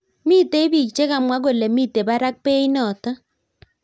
Mitei bik chekamwa kole mitei barak beit notok .